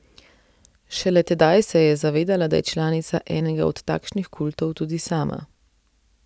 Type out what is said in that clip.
Šele tedaj se je zavedala, da je članica enega od takšnih kultov tudi sama.